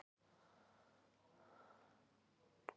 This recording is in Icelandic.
Baráttan hafi verið of löng.